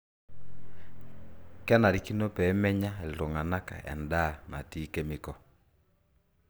kenarikino peemenya iltung'anak endaa natii kemikol